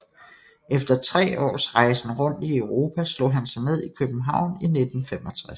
Efter tre års rejsen rundt i Europa slog han sig ned i København i 1965